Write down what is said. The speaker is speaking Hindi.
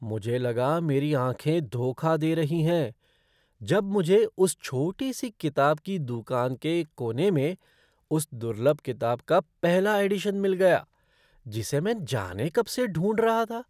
मुझे लगा मेरी आँखें धोखा दे रही हैं जब मुझे उस छोटी सी किताब की दूकान के एक कोने में उस दुर्लभ किताब का पहला एडिशन मिल गया जिसे मैं जाने कब से ढूंढ रहा था।